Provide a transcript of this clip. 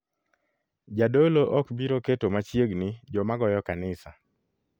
Jadolo ok biro keto machiegni joma goyo kanisa,